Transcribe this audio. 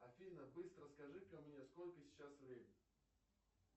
афина быстро скажи ка мне сколько сейчас время